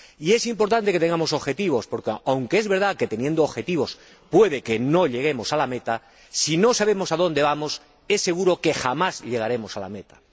Y es importante que nos fijemos objetivos porque, aunque es verdad que teniendo objetivos puede que no alcancemos la meta, si no sabemos a dónde vamos es seguro que jamás llegaremos a la meta.